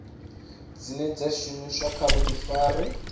dzine dza shumiswa kha vhuḓifari